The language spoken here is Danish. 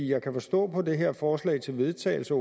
jeg kan forstå på det her forslag til vedtagelse